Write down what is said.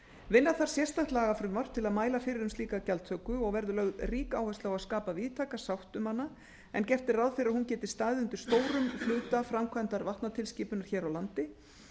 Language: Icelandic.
vinna þarf sérstakt lagafrumvarp til að mæla fyrir um slíka gjaldtöku og verður lögð rík áhersla á að skapa víðtæka sátt um hana en gert er ráð fyrir að hún geti staðið undir stórum hluta framkvæmdar og vatnatilskipunar hér á landi